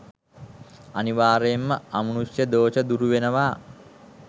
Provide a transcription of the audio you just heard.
අනිවාර්යයෙන්ම අමනුෂ්‍ය දෝෂ දුරුවෙනවා.